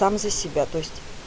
сам за себя то есть